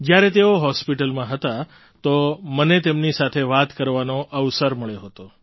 જ્યારે તેઓ હૉસ્પિટલમાં હતા તો મને તેમની સાથે વાત કરવાનો અવસર મળ્યો હતો